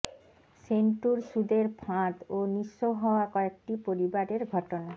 সেন্টুর সুদের ফাঁদ ও নিঃস্ব হওয়া কয়েকটি পরিবারের ঘটনা